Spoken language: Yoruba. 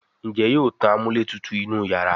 Njé yóò tán amúlétutù inú iyàrá?